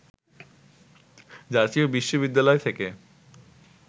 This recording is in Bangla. জাতীয় বিশ্ববিদ্যালয় থেকে